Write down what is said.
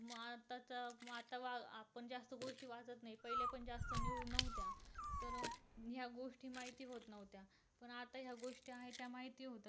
असत नाही. पहिल पण जास्त नव्हत्या तर ह्या माहिती होत नव्हत्या. पण आता ह्या गोष्टी आहेत त्या माहिती होतात.